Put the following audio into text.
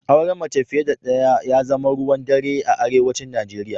Auren mace fiye da ɗaya ya zama ruwan dare a arewacin Najeriya